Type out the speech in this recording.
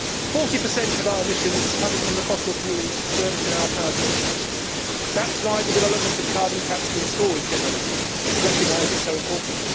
Forty per cent of our emissions come from the fossil fuels burnt in our power stations. That is why the development of carbon capture and storage technology is recognised as so important.